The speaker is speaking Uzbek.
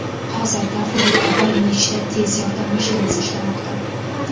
Hozirda hududda bir nechta tez yordam mashinasi ishlamoqda.